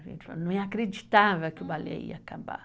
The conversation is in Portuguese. A gente não acreditava que o balé ia acabar.